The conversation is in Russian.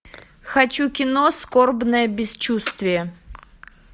хочу кино скорбное бесчувствие